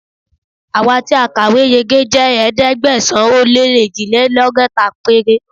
Àwa tí a kàwé yege jẹ́ ẹ̀ẹ́dẹ́gbẹ̀sán-ó-lé-èjìlélọ́gọ́ta péré.